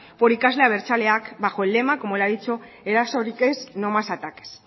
por ikasle abertzaleak bajo el lema como él ha dicho erasorik ez no más ataques